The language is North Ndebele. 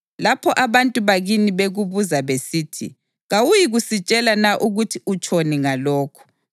Lapho abantu bakini bekubuza besithi, ‘Kawuyikusitshela na ukuthi utshoni ngalokhu?’